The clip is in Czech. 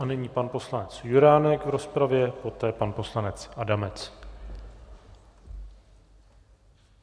A nyní pan poslanec Juránek v rozpravě, poté pan poslanec Adamec.